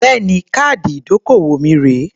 Bẹ́ẹ̀ni. Káàdì ìdókòwò mi rèé.